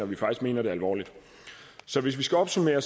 vi faktisk mener det alvorligt så hvis vi skal opsummere